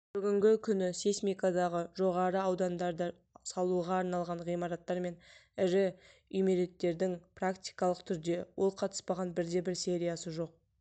бүгінгі күні сейсмикалығы жоғары аудандарда салуға арналған ғимараттар мен ірі үймереттердің практикалық түрде ол қатыспаған бірде-бір сериясы жоқ